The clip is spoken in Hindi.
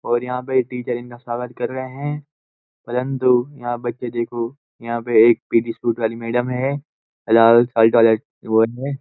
और यहाँ पे टीचर इनका स्वागत कर रहे हैं परंतु यहाँ बच्चे देखो यहाँ पे एक पीडी स्पूट वाली मैडम है वो है।